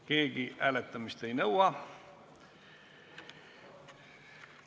Keegi hääletamist ei nõua.